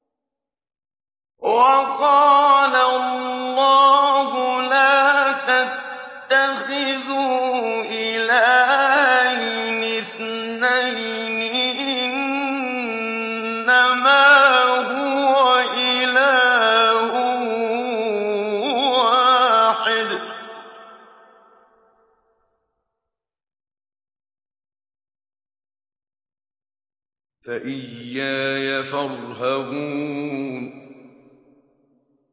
۞ وَقَالَ اللَّهُ لَا تَتَّخِذُوا إِلَٰهَيْنِ اثْنَيْنِ ۖ إِنَّمَا هُوَ إِلَٰهٌ وَاحِدٌ ۖ فَإِيَّايَ فَارْهَبُونِ